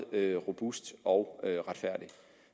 robust og retfærdig